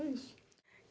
É isso.